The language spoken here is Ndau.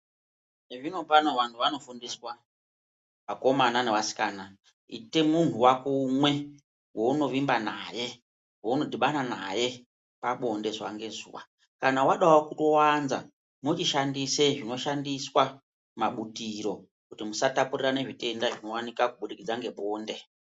Zvinopano vantu vanofundiswa vakomana nevasikana ite muntu wako umwe waunovimba naye waunodhibana naye pabonde zuva ngezuva kana wadawo wanza mochishandisa zvinoshandiswa mabutiro kuti musatapurirana zvitenda zvinowanika kubudikidza ngebonde.